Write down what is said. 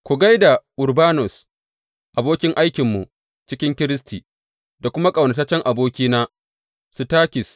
Ku gai da Urbanus, abokin aikinmu cikin Kiristi, da kuma ƙaunataccen abokina Sitakis.